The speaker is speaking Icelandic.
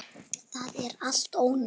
Það er allt ónýtt.